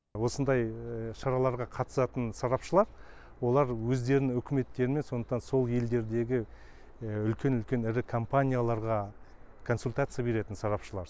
осындай шараларға қатысатын сарапшылар олар өздернің үкіметтерімен сондықтан сол елдердегі үлкен үлкен ірі компанияларға консультация беретін сарапшылар